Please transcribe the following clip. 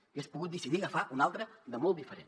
hagués pogut decidir agafar ne un altre de molt diferent